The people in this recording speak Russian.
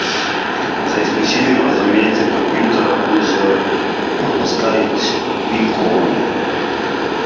за исключением разумеется компьютера тут же подпускает шпильку он